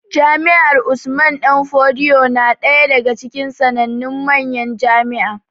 Jami'ar Usman danfodiyo na ɗaya daga cikin sanannun manyan jami'a